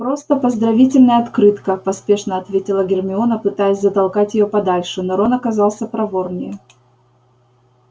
просто поздравительная открытка поспешно ответила гермиона пытаясь затолкать её подальше но рон оказался проворнее